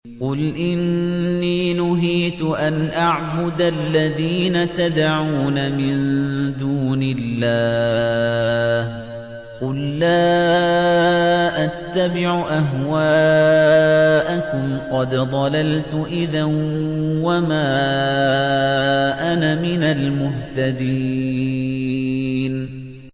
قُلْ إِنِّي نُهِيتُ أَنْ أَعْبُدَ الَّذِينَ تَدْعُونَ مِن دُونِ اللَّهِ ۚ قُل لَّا أَتَّبِعُ أَهْوَاءَكُمْ ۙ قَدْ ضَلَلْتُ إِذًا وَمَا أَنَا مِنَ الْمُهْتَدِينَ